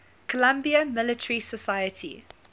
columbia military society